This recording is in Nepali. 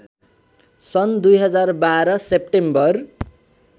सन् २०१२ सेप्टेम्बर